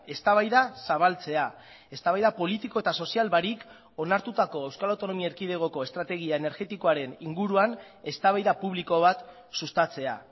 eztabaida zabaltzea eztabaida politiko eta sozial barik onartutako euskal autonomia erkidegoko estrategia energetikoaren inguruan eztabaida publiko bat sustatzea